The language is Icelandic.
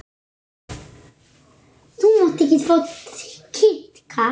Það getur tekið á.